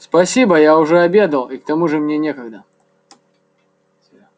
спасибо я уже обедал и к тому же мне некогда